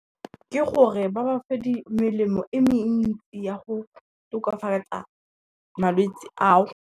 Ke gore ba ba fe melemo e mentsi ya go tokafatsa malwetsi ao.